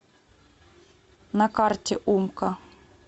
на карте умка